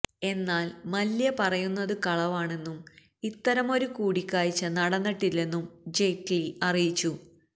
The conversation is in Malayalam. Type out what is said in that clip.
എന്നാല് മല്യ പറയുന്നത് കളവാണെന്നും ഇത്തരമൊരു കൂടിക്കാഴ്ച നടന്നിട്ടില്ലെന്നും ജയ്റ്റ്ലി അറിയിച്ചു